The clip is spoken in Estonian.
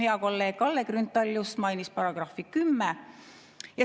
Hea kolleeg Kalle Grünthal just mainis § 10.